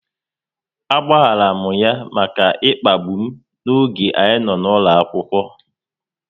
A gbaghara m ya maka ịkpagbu m oge anyị nọ n'ụlọ akwụkwọ